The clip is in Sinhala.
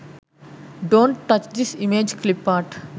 dont touch this images clip art